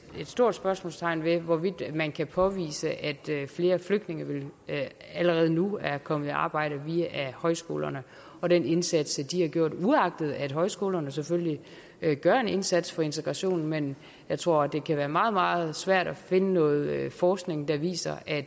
stort spørgsmålstegn ved hvorvidt man kan påvise at flere flygtninge allerede nu er kommet i arbejde via højskolerne og den indsats de har gjort uagtet at højskolerne selvfølgelig gør en indsats for integrationen men jeg tror det kan være meget meget svært at finde noget forskning der viser at